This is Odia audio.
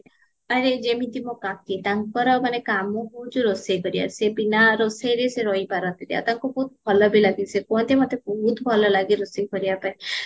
ଆରେ ଯେମିତି ମୋ କାକୀ ତାଙ୍କର ମାନେ କାମ ହଉଚି ରୋଷେଇ କରିବା ବିନା ରୋଷେଇରେ ସେ ରହିପାରନ୍ତିନି ଆଉ ତାଙ୍କୁ ବହୁତ ଭଲବି ଲାଗେ ସେ କୁହନ୍ତି ମତେ ବହୁତ ଭଲ ଲାଗ ରୋଷେଇ କରିବା ପାଇଁ